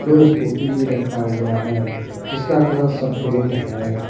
दो स्कूटी भी रखा हुआ है जिसका कलर सफेद है।